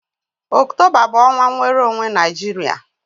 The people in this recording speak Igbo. Ọktoba bụ ọnwa nnwere onwe Naijiria.